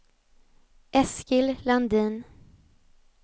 Eskil Landin